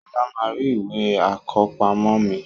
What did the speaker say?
Sola máa rí Ìwé àkọ́pamọ́ mi